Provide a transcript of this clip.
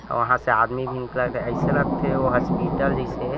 औ वहाँ से आदमी भी निकलत हे अइसे लग थे ओ हॉस्पिटल जईसे--